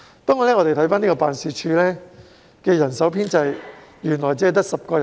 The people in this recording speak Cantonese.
不過，大家也看到，辦事處的人手編制只有10人而已。